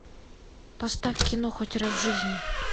поставь кино хоть раз в жизни